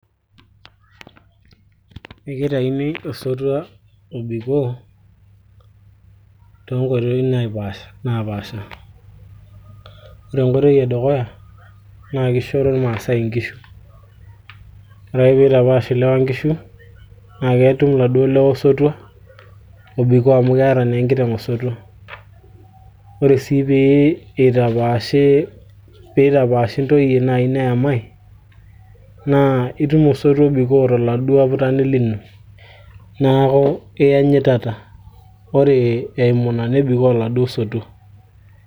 ekitaini osotua obikoo toonkoitoi napaasha ore enkoitoi edukuya naa kishoro iltung'anak inkishu ore ake piitapash ilewa inkishu naa ketum iladuo lewa osotua obikoo amu keeta naa enkiteng osotua ore sii pee eitapaashi pitapaashi ntoyie naaji neyamai naa itum osotua obikoo toladuo aputani lino naaku iyanyitata ore eimu ina nebikoo oladuo sotua.